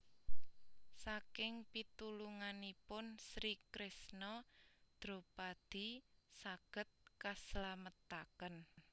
Saking pitulunganipun Sri Kresna Dropadi saged kaslametaken